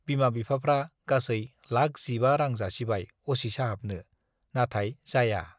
बिमा-बिफाफ्रा गासै लाख जिबा रां जासिबाय असि साहाबनो, नाथाय जाया।